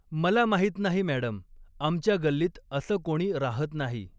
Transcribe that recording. मला माहित नाही मॅडम, आमच्या गल्लीत अस कोणी राहत नाही.